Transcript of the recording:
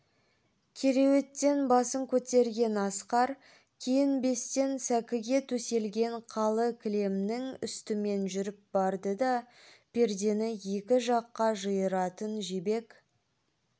кереуеттен басын көтерген асқар киінбестен сәкіге төселген қалы кілемнің үстімен жүріп барды да пердені екі жаққа жиыратын жібек